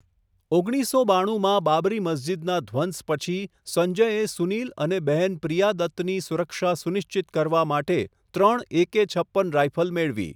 ઓગણીસસો બાણુંમાં બાબરી મસ્જિદના ધ્વંસ પછી સંજયે સુનીલ અને બહેન પ્રિયા દત્તની સુરક્ષા સુનિશ્ચિત કરવા માટે ત્રણ એકે છપ્પન રાઈફલ મેળવી.